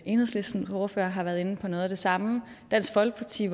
enhedslistens ordfører har været inde på noget af det samme at dansk folkeparti